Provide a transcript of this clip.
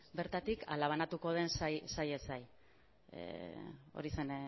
bertatik ala banatuko den sailez sail